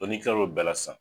ni kila lo bɛɛ la sisan.